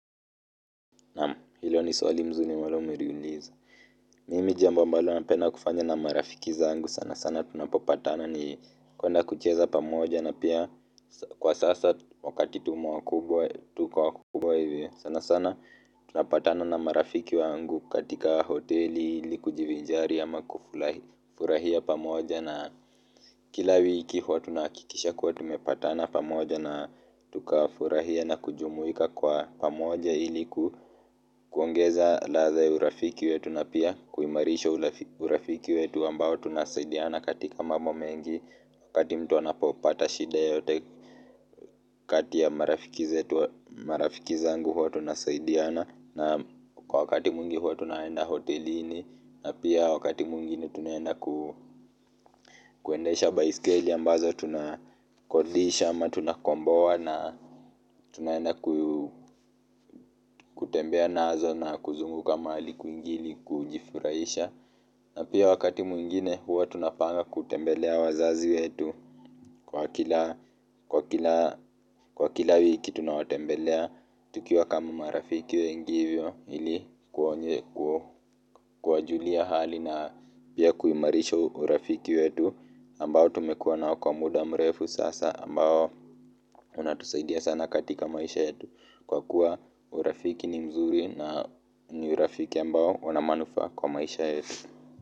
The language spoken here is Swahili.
Naam hilo ni swali mzuri ambalo mumeliuliza mimi jambo ambalo napenda kufanya na marafiki zangu sana sana tunapopatana ni kwenda kucheza pamoja na pia kwa sasa wakati tumo wakubwa tuko wakubwa hivyo. Sana sana tunapatana na marafiki wangu katika hoteli ili kujivijari ama kufurahia pamoja na kila wiki huwa tunahakikisha kuwa tumepatana pamoja na tukafurahia na kujumuika kwa pamoja ili ku. Kuongeza ladha ya urafiki wetu na pia kuimarisha urafiki wetu ambao tunasaidiana katika mambo mengi wakati mtu anapopata shida yoyote kati ya marafiki zetu marafiki zangu huwa tunasaidiana naam kwa wakati mwingi huwa tunaenda hotelini na pia wakati mwingine tunaenda ku kuendesha baiskeli ambazo tunakodisha ama tunakomboa na tunaenda kutembea nazo na kuzunguka mahali kwingi ili kujifurahisha na pia wakati mwingine huwa tunapanga kutembelea wazazi wetu kwa kila kwa kila wiki tunawatembelea tukiwa kama marafi wengi hivyo ili kuwajulia hali na pia kuimarisha urafiki wetu ambao tumekuwa nao kwa muda mrefu sasa ambao unatusaidia sana katika maisha yetu kwa kuwa urafiki ni mzuri na ni urafiki ambao una manufaa kwa maisha yetu.